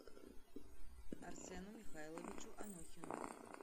арсену михайловичу анохину